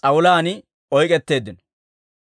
s'awulaan oyk'k'etteeddino.